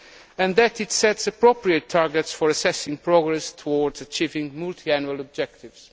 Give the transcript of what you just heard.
and that it sets appropriate targets for assessing progress towards achieving multiannual objectives.